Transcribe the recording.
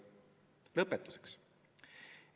Lõpetuseks.